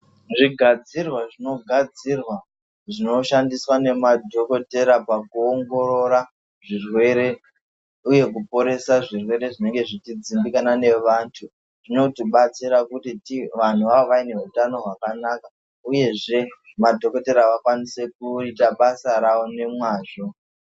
Zvigadzirwa zvinogadzirwa zvinoshandiswa nemadhogodheya pakuongorora zvirwere, uye pakuporesa zvirwere zvinenge zvichidzimbikana nevantu. Zvinotibatsira kuti vantu vave vane hutano hwakanaka, uyezve madhokotera vakwanise kuita basa ravo nemwazvo.